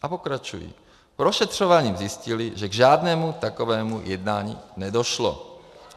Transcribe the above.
A pokračují: "Prošetřováním zjistili, že k žádnému takovému jednání nedošlo."